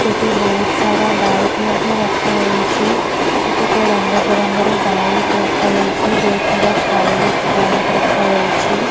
ସେଠି ବହୁତ ସାରା ବାଇକ ମଧ୍ୟ ରଖାଯାଇଛି କେତେକ ରଙ୍ଗ ବେରଙ୍ଗ ର ବାଇକ ରଖାଯାଇଛି ବହୁତ ସାରା ଷ୍ଟାଇଲିଶ ବାଇକ ରଖାଯାଇଛି।